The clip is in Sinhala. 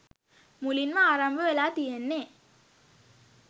මුලින්ම ආරම්භ වෙලා තියෙන්නෙ